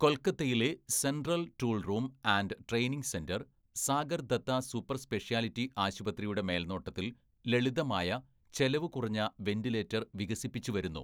"കൊല്‍ക്കത്തയിലെ central‍ tool room and training centre, Sagar‍ Dutta super‍ speciality ആശുപത്രിയുടെ മേല്‍നോട്ടത്തില്‍ ലളിതമായ, ചെലവു കുറഞ്ഞ വെന്റിലേറ്റര്‍ വികസിപ്പിച്ചു വരുന്നു. "